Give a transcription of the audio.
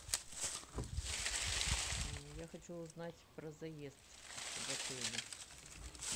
я хочу узнать про заезд в отеле